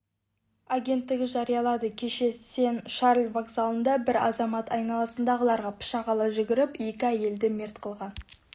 агенттігі жариялады кеше сен-шарль вокзалында бір азамат айналасындағыларға пышақ ала жүгіріп екі әйелді мерт қылған